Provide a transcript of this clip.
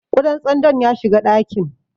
Ƙudan tsandon ya shiga ɗakin.